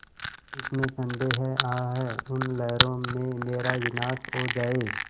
इसमें संदेह है आह उन लहरों में मेरा विनाश हो जाए